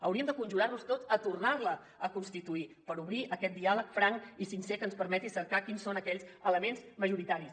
hauríem de conjurar nos tot a tornar la a constituir per obrir aquest diàleg franc i sincer que ens permeti cercar quins són aquells elements majoritaris